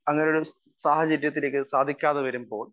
speaker 1 അങ്ങനെയൊരു സാഹചര്യത്തിലേക്ക് സാധിക്കാതെ വരുമ്പോൾ